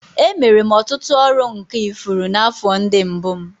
Emere m ọtụtụ ọrụ nka ifuru n'afọ ndị mbụ m